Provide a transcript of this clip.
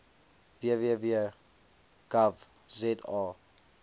www gov za